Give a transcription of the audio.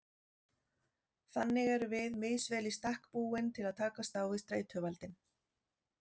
Þannig erum við misvel í stakk búin til að takast á við streituvaldinn.